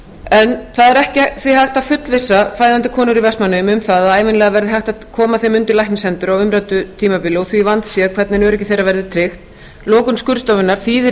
en það er ekki hægt að fullvissa fæðandi konur í vestmannaeyjum um að ævinlega verði hægt að koma þeim undir læknishendur á umræddu tímabili og því vandséð hvernig erindi þeirra verður tryggt lokun skurðstofunnar þýðir